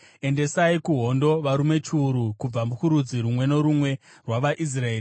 Endesai kuhondo varume chiuru kubva kurudzi rumwe norumwe rwavaIsraeri.”